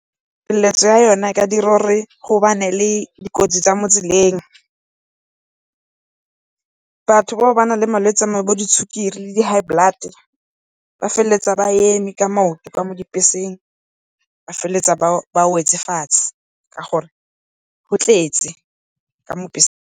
ya yone e ka dira gore go bane le di kotsi tsa mo tseleng. Batho bao ba nang le malwetsi a go tshwana le di sukiri le di-High blood, ba feleletsa ba eme ka maoto ka mo dibeseng ba feleletsa ba wetse fatshe ka gore go tletse ka mo .